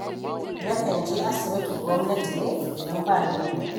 Nakan je asibitin gwamnati ne idan ba ni da kuɗi.